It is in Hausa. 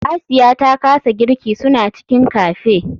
Asiya ta kasa girki suna cikin cafe.